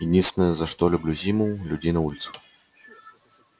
единственное за что люблю зиму людей на улицах